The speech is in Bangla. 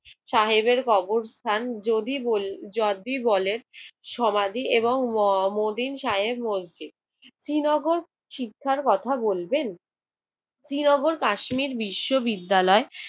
সাহেবের কবরস্থান, যদি বলি~ যদি বলে সমাধি এবং ম~ মতিন সাহেব মসজিদ। শ্রীনগর শিক্ষার কথা বলবেন? শ্রীনগর কাশ্মীর বিশ্ববিদ্যালয়